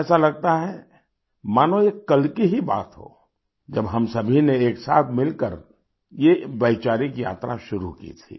ऐसा लगता है मानो ये कल की ही बात हो जब हम सभी ने एक साथ मिलकर ये वैचारिक यात्रा शुरू की थी